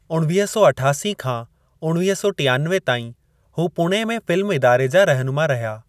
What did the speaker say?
उणवीह सौ अठासी खां उणवीह सौ टियानवे ताईं हू पुणे में फिल्म इदारे जा रहिनुमा रहिया।